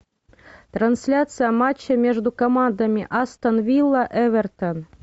трансляция матча между командами астон вилла эвертон